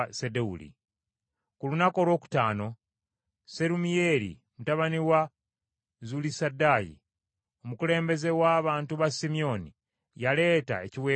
Ku lunaku olwokutaano Serumiyeeri mutabani wa Zulisadaayi, omukulembeze w’abantu ba Simyoni, yaleeta ekiweebwayo kye.